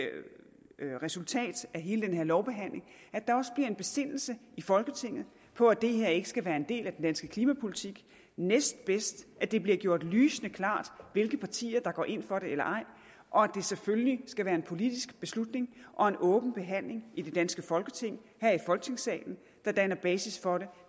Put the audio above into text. hele den her lovbehandling at der også bliver en besindelse i folketinget på at det her ikke skal være en del af den danske klimapolitik næstbedst at det bliver gjort lysende klart hvilke partier der går ind for det eller ej og at det selvfølgelig skal være en politisk beslutning og en åben behandling i det danske folketing her i folketingssalen der danner basis for det